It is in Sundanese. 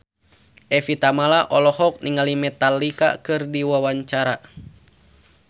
Evie Tamala olohok ningali Metallica keur diwawancara